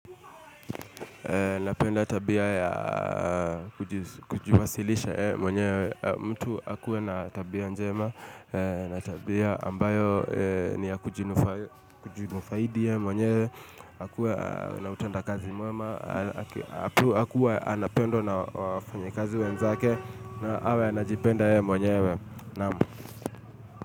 Napenda tabia ya kujiwasilisha mwenyewe. Mtu akuwe na tabia njema na tabia ambayo ni ya kujifaidi yeye mwenyewe na kuwa na utendakazi mwema awe anapendwa na wafanyikazi wenzake na awe anajipenda yeye mwenyewe. Naam.